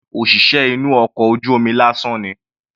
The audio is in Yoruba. Rárá, òṣìṣẹ́ inú ọkọ̀ ojú omi lásán ni.